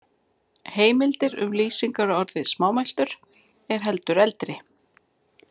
Heimildir um lýsingarorðið smámæltur eru heldur eldri.